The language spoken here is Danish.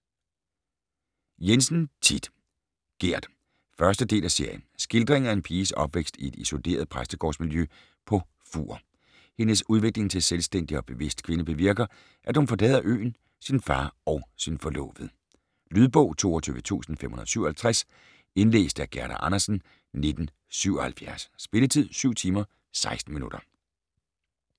Jensen, Thit: Gerd 1. del af serie. Skildring af en piges opvækst i et isoleret præstegårds-miljø på Fuur. Hendes udvikling til selvstændig og bevidst kvinde bevirker, at hun forlader øen, sin far og sin forlovede. Lydbog 22557 Indlæst af Gerda Andersen, 1977. Spilletid: 7 timer, 16 minutter.